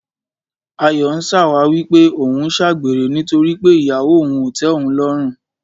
Ayọ̀ ń ṣàwáwí pé òun ń ṣàgbèrè nítorí pé ìyàwó òun ò tẹ́ òun lọ́rùn.